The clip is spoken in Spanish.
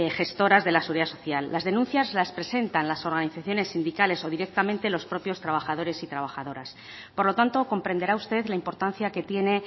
gestoras de la seguridad social las denuncias las presentan las organizaciones sindicales o directamente los propios trabajadores y trabajadoras por lo tanto comprenderá usted la importancia que tiene